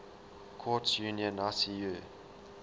courts union icu